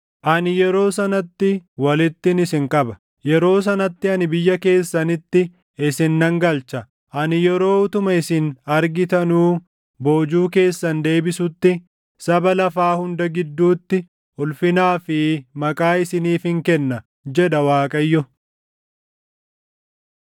Ani yeroo sanatti walittin isin qaba; yeroo sanatti ani biyya keessanitti isin nan galcha. Ani yeroo utuma isin argitanuu boojuu keessan deebisutti saba lafaa hunda gidduutti ulfinaa fi maqaa isiniifin kenna” jedha Waaqayyo.